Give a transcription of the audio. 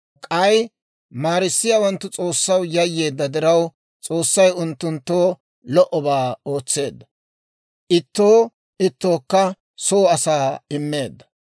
K'ay maarissiyaawanttu S'oossaw yayyeedda diraw, S'oossay unttunttoo lo"obaa ootseedda. Ittoo ittookka soo asaa immeedda.